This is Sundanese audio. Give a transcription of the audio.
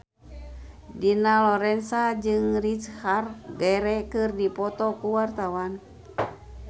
Dina Lorenza jeung Richard Gere keur dipoto ku wartawan